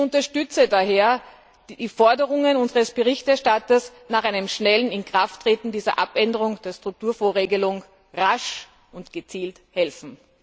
Ich unterstütze daher die Forderungen unseres Berichterstatters nach einem schnellen Inkrafttreten dieser Abänderung der Strukturfondsregelung rasch und gezielt helfen.